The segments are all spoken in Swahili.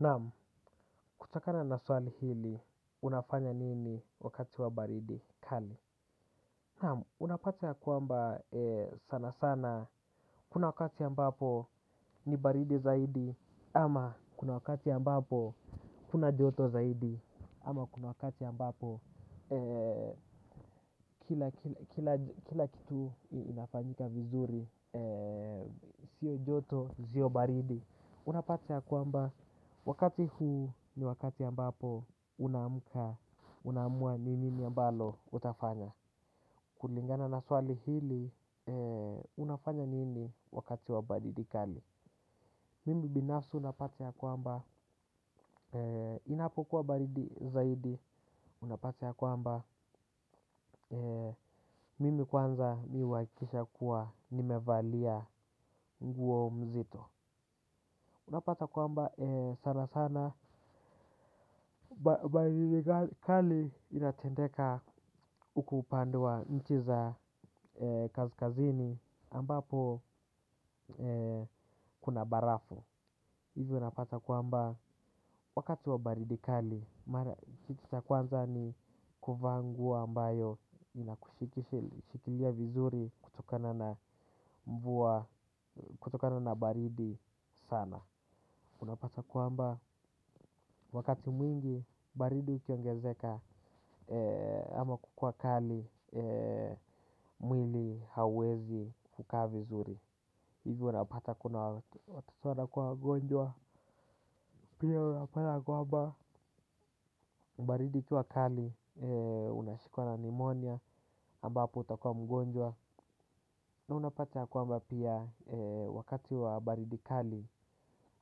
Namu, kutokana na swali hili, unafanya nini wakati wa baridi kali? Namu, unapata ya kwamba sana sana, kuna wakati ambapo ni baridi zaidi, ama kuna wakati ambapo kuna joto zaidi, ama kuna wakati ambapo kila kitu inafanyika vizuri, sio joto, sio baridi. Unapata ya kwamba wakati huu ni wakati ambapo unaamuka unaamua ni nini ambalo utafanya. Kulingana na swali hili unafanya nini wakati wa baridi kali. Mimi binafsi unapati ya kwamba inapokuwa baridi zaidi unapata ya kwamba mimi kwanza mi huwakikisha kuwa nimevalia nguo mzito. Unapata kwamba sana sana baridi kali inatendeka huku upande wa nchi za kasikazini ambapo kuna barafu. Hivyo unapata kwamba wakati wa baridi kali mara kitu cha kwanza ni kuvaa nguo ambayo inakushikilia vizuri kutokana na mvua kutokana na baridi sana. Unapata kwamba wakati mwingi baridi ukiongezeka ama kukuwa kali mwili hauwezi kukaa vizuri. Hivyo unapata kuna watoto wakuwa wagonjwa. Pia unapata kwamba baridi ikiwa kali unashikwa na pneumonia ambapo utakua mgonjwa. Na unapata kwamba pia wakati wa baridi kali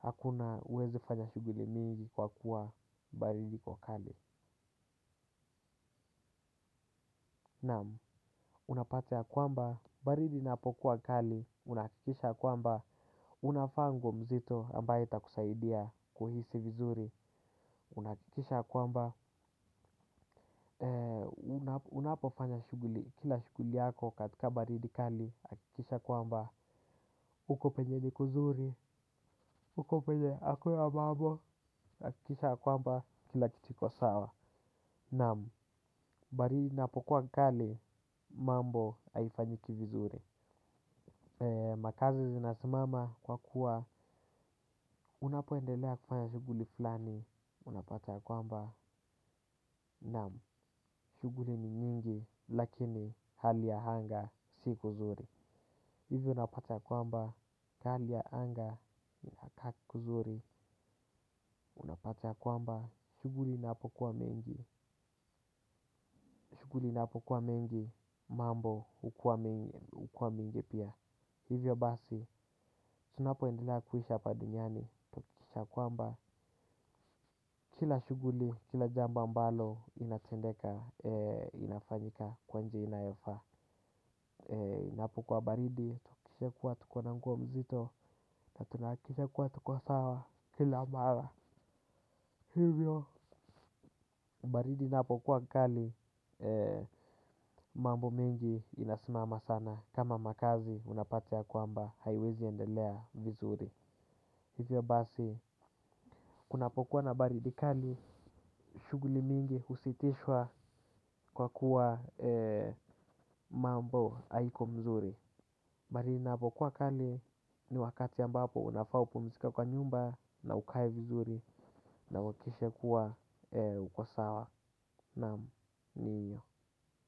hakuna uwezi fanya shuguli mingi kwa kuwa baridi iko kali. Naamu, unapata ya kwamba, baridi inapokuwa kali, unahakikisha kwamba, unavaa nguo mzito ambaye itakusaidia kuhisi vizuri, unaakikisha kwamba, unapofanya kila shuguli yako katika baridi kali, hakikisha kwamba, huko penye ni kuzuri, huko penye akuna mambo, hakikisha kwamba kila kitu iko sawa, naamu, baridi inapokuwa kali, mambo haifanyiki vizuri. Makazi zinasimama kwa kuwa unapoendelea kufanya shuguli fulani unapata ya kwamba Naam. Shuguli ni nyingi. Lakini hali ya anga si kuzuri. Hivyo unapata ya kwamba hali ya anga kuzuri. Unapata ya kwamba shuguli inapo uwa mengi shuguli inapo kwa mengi mambo hukuwa mingi pia. Hivyo basi tunapoendelea kuhisha hapa duniani tuakikishe kwamba kila shuguli, kila jambo ambalo inatendeka, inafanyika kwa njia inayofaa. Napokuwa baridi, tuakikishe kuwa tuko na nguo mzito na tunaakikisha kuwa tuko sawa kila mara. Hivyo, baridi inapokuwa kali, mambo mengi inasimama sana. Kama makazi, unapata ya kwamba, haiwezi endelea vizuri. Hivyo basi, kunapokuwa na baridi kali, shuguli mingi husitishwa kwa kuwa mambo haiko mzuri maali inapokuwa kali ni wakati ambapo unafa upumizike kwa nyumba na ukae vizuri na uwakikishe kuwa uko sawa naam ni hiyo.